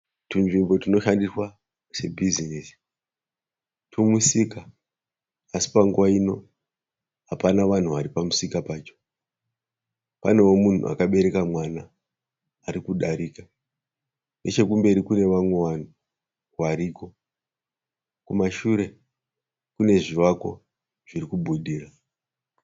Tunzvimbo tunoshandiswa sebizinesi. Tumusika asi panguva nguva ino hapana vanhu vari pamusika pacho. Panewo munhu akabereka mwana ari kudarika. Nechekumberi kune vamwe vanhu variko. Kumashure kune zvivakwa zviri kubudira.